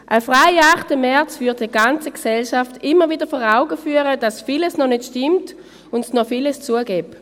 Ein freier 8. März würde der ganzen Gesellschaft immer wieder vor Augen führen, dass vieles noch nicht stimmt und dass es noch viel zu tun gäbe.